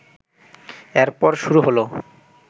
এরপর শুরু হল